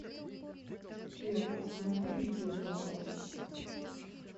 сбер останови видео пожалуйста